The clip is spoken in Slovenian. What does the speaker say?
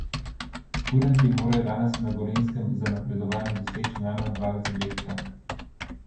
Kurenti morajo danes na Gorenjskem za napredovanje doseči najmanj dva zadetka.